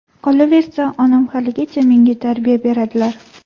Qolaversa, onam haligacha menga tarbiya beradilar”.